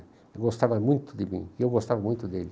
Ele gostava muito de mim e eu gostava muito dele.